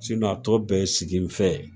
a tɔ bɛɛ ye sigi n fɛ ye.